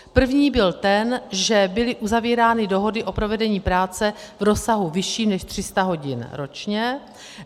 První byl ten, že byly uzavírány dohody o provedení práce v rozsahu vyšším než 300 hodin ročně.